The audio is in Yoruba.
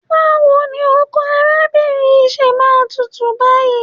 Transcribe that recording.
Báwo ni ọkọ arábìnrin yìí ṣe máa tútù báyìí?